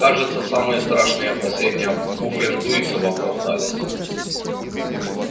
кажется самые страшные опасения пуффендуйцев оправдались